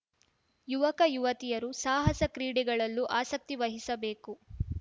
ಯುವಕ ಯುವತಿಯರು ಸಾಹಸ ಕ್ರೀಡೆಗಳಲ್ಲೂ ಆಸಕ್ತಿ ವಹಿಸಬೇಕು